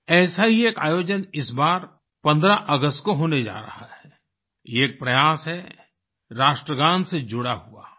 ऐसा ही एक आयोजन इस बार 15 अगस्त को होने जा रहा है ये एक प्रयास है राष्ट्रगान से जुड़ा हुआ